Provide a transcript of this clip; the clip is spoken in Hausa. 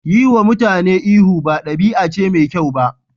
Yiwa mutane ihu ba ɗabi'a ce mai kyau ba.